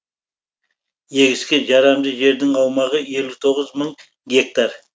егіске жарамды жердің аумағы елу тоғыз мың гектар